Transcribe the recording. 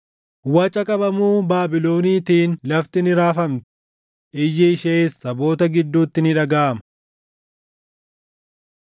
Waca qabamuu Baabiloniitiin lafti ni raafamti; iyyi ishees saboota gidduutti ni dhagaʼama.